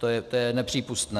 To je nepřípustné.